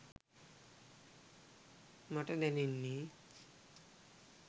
මට දැනෙන්නේ